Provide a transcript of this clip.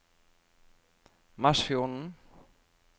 Masfjorden